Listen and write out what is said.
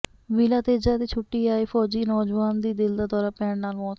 ਵੀਲਾ ਤੇਜਾ ਦੇ ਛੁੱਟੀ ਆਏ ਫ਼ੌਜੀ ਨੌਜਵਾਨ ਦੀ ਦਿਲ ਦਾ ਦੌਰਾ ਪੈਣ ਨਾਲ ਮੌਤ